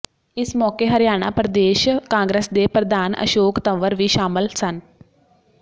ਇਸ ਮੌਕੇ ਹਰਿਆਣਾ ਪ੍ਰਦੇਸ਼ ਕਾਂਗਰਸ ਦੇ ਪ੍ਰਧਾਨ ਅਸ਼ੋਕ ਤੰਵਰ ਵੀ ਸ਼ਾਮਲ ਸਨ